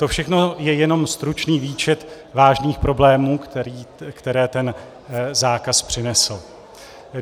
To všechno je jenom stručný výčet vážných problémů, které ten zákaz přinesl.